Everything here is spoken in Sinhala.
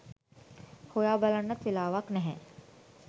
හොයා බලන්නත් වෙලාවක් නැහැ.